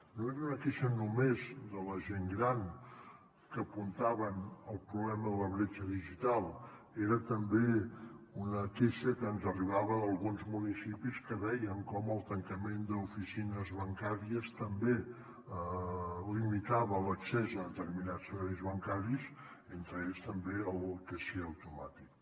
no era una queixa només de la gent gran que apuntaven el problema de la bretxa digital era també una queixa que ens arribava d’alguns municipis que veien com el tancament d’oficines bancàries també limitava l’accés a determinats serveis bancaris entre ells també el caixer automàtic